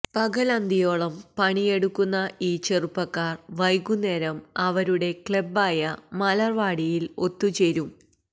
പകലന്തിയോളം പണിയെടുക്കുന്ന ഈ ചെറുപ്പക്കാര് വൈകുന്നേരം അവരുടെ ക്ലബ്ബായ മലര്വാടിയില് ഒത്തുചേരും